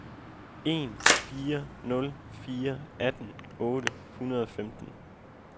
en fire nul fire atten otte hundrede og femten